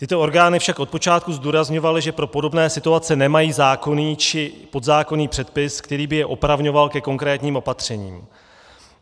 Tyto orgány však od počátku zdůrazňovaly, že pro podobné situace nemají zákonný či podzákonný předpis, který by je opravňoval ke konkrétním opatřením.